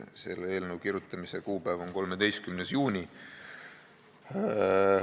Selle eelnõu kirjutamise kuupäev on 13. juuni.